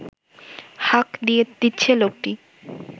হাঁক দিচ্ছে লোকটি